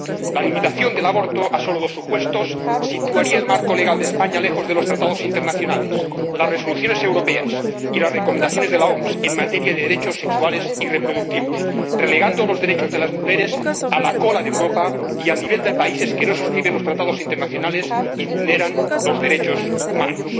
La limitación del aborto a solo dos supuestos situaría el marco legal de España lejos de los tratados internacionales, las resoluciones europeas y las recomendaciones de la OMS en materia de derechos sexuales y reproductivos, relegando los derechos de las mujeres a la cola de Europa y al nivel de países que no suscriben los tratados internacionales y vulneran los derechos humanos.